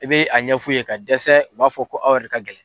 I bi a ɲɛf'u ye ka dɛsɛ, u b'a fɔ ko aw yɛrɛ de ka gɛlɛn